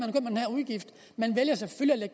udgift man vælger selvfølgelig at